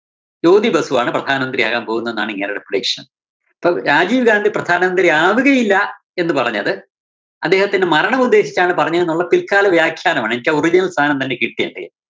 ജ്യോതി ബസുവാണ് പ്രധാനമന്ത്രിയാകാൻ പോകുന്നെന്നാണ് ഇങ്ങേരുടെ prediction, ഇപ്പോ രാജീവ് ഗാന്ധി പ്രധാനമന്ത്രി ആവുകയില്ല എന്ന് പറഞ്ഞത് അദ്ദേഹത്തിന്റെ മരണം ഉദ്ദേശിച്ചാണ് പറഞ്ഞേന്നുള്ള പിൻകാല വ്യാഖ്യാനമാണ്. എനിക്ക് ആ